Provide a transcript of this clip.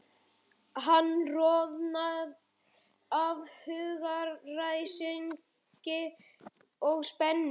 Hann roðnar af hugaræsingi og spennu.